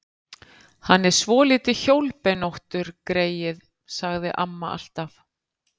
Hann er svolítið hjólbeinóttur, greyið, sagði amma alltaf.